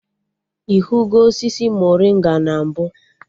Ị hụgo osisi morịnga na mbụ?